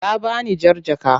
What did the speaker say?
Ta bani jar jaka.